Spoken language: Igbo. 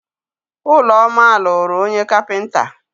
Ụlọma lụrụ onye kapịnta.